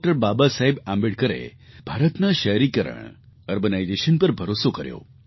બાબાસાહેબ આંબેડકરે ભારતના શહેરીકરણ અર્બનાઇઝેશન પર ભરોસો કર્યો